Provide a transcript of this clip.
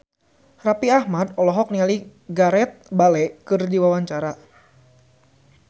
Raffi Ahmad olohok ningali Gareth Bale keur diwawancara